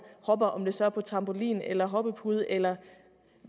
hopper om det så er på trampolin eller hoppepude eller